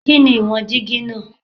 Kini iwọn digi naa?